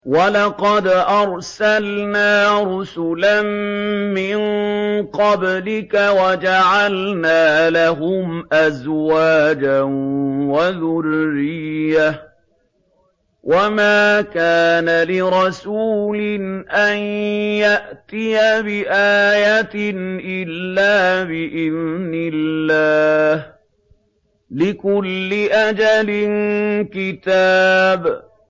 وَلَقَدْ أَرْسَلْنَا رُسُلًا مِّن قَبْلِكَ وَجَعَلْنَا لَهُمْ أَزْوَاجًا وَذُرِّيَّةً ۚ وَمَا كَانَ لِرَسُولٍ أَن يَأْتِيَ بِآيَةٍ إِلَّا بِإِذْنِ اللَّهِ ۗ لِكُلِّ أَجَلٍ كِتَابٌ